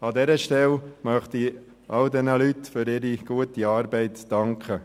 An dieser Stelle möchte ich all diesen Leuten für ihre gute Arbeit danken.